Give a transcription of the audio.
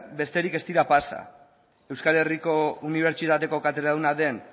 besterik ez dira pasa euskal herriko unibertsitateko katedraduna den